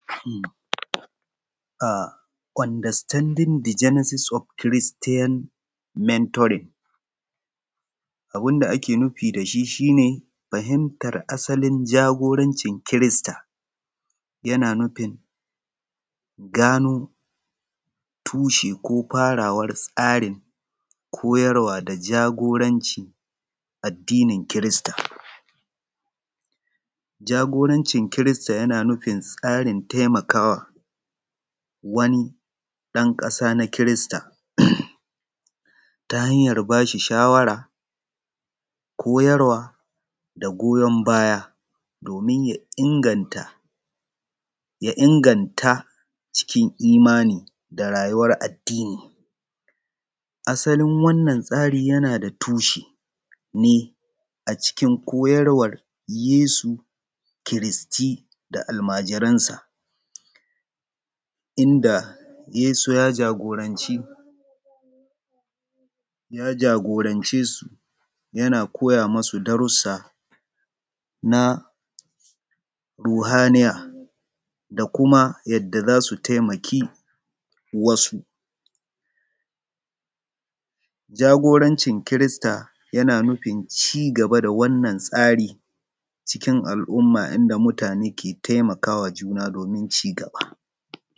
Understanding the genesis of Christian mentoring. Abun da ake nufi da shi shi ne fahimtar asalin jagorancin kirista, yana nufin gano tushi ko farawar tsarin koyarwar da jagorancin addinin kirista. Jagorancin kirista yana nufi tsarin taimakawa wani ɗan ƙasa na kirista ta hanyar ba shi shawara koyarwa da goyon baya domin ya inganta cikin imani da rayuwar addini. Asalin wannan rayuwar yana da tushenni a cikin koyarwar Yesu kiristi da almajiransa Idan Yesu ya jagorance su yana koya musu daraja na Ruhaniya da kuma yadda za su taimaki wasu. Jagorancin kirista yana nufin ci gaba da wannan tsarin ciki al'umma idan mutane ke taimaka ma juna domin ci gaba.